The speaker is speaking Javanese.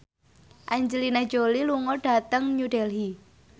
Angelina Jolie lunga dhateng New Delhi